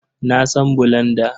Na san bulanda.